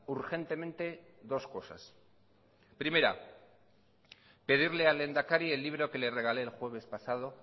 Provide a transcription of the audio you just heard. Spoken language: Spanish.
urgentemente dos cosas primera pedirle al lehendakari el libro que le regalé el jueves pasado